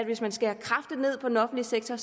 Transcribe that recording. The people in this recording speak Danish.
hvis man skærer kraftigt ned på den offentlige sektor